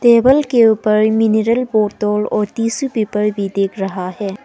Table के ऊपर mineral बोतल और टिशू पेपर भी दिख रहा है।